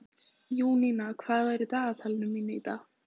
Júníana, hvað er í dagatalinu mínu í dag?